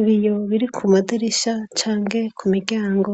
Ibiyo biri ku madirisha canke ku miryango